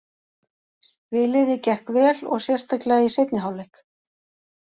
Spiliði gekk vel og sérstaklega í seinni hálfleik.